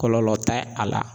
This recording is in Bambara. Kɔlɔlɔ tɛ a la.